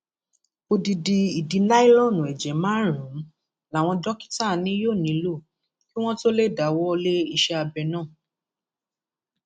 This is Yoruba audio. odidi ìdí láìlọọnù ẹjẹ márùnún làwọn dókítà ni yóò nílò kí wọn tóó lè dáwọ lé iṣẹ abẹ náà